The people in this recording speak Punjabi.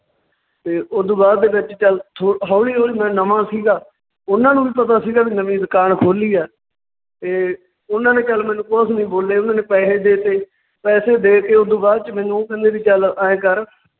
ਤੇ ਓਦੂ ਬਾਅਦ ਦੇ ਵਿੱਚ ਚੱਲ ਥੋ~ ਹੌਲੀ ਹੌਲੀ ਮੈਂ ਨਵਾਂ ਸੀਗਾ ਉਨਾਂ ਨੂੰ ਵੀ ਪਤਾ ਸੀਗਾ ਵੀ ਨਵੀਂ ਦੁਕਾਨ ਖੋਲੀ ਹੈ, ਤੇ ਉਹਨਾਂ ਨੇ ਚੱਲ ਮੈਨੂੰ ਕੁਛ ਨੀ ਬੋਲੇ ਉਹਨਾਂ ਨੇ ਪੈਸੇ ਦੇ ਤੇ, ਪੈਸੇ ਦੇ ਕੇ ਓਦੂ ਬਾਅਦ ਚ ਮੈਨੂੰ ਉਹ ਕਹਿੰਦੇ ਵੀ ਚੱਲ ਐਂ ਕਰ